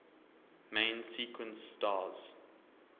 main sequence stars